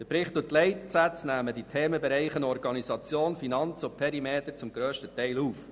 Der Bericht und die Leitsätze nehmen die Themenbereiche Organisation, Finanzen und Perimeter zum grössten Teil auf.